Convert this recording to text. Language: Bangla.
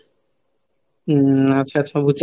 উম আচ্ছা আচ্ছা বুজছি,